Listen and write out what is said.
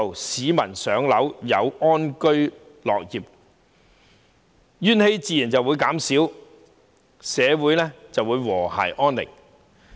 市民能夠"上樓"，安居樂業，怨氣自然會減少，社會便會和諧安寧。